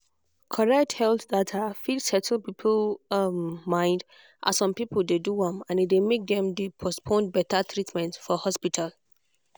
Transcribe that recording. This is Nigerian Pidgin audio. correct health data fit settle people um mind as some people dey do am and e dey make dem dey postpone beta treatment for hospital.